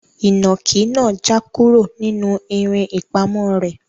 Inaki naa ja kuro ninu irin ipamo re